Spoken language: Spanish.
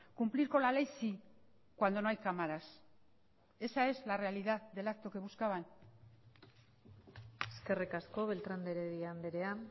cumplir con la ley sí cuando no hay cámaras esa es la realidad del acto que buscaban eskerrik asko beltrán de heredia andrea